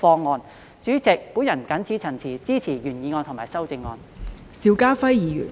代理主席，我謹此陳辭，支持原議案和修正案。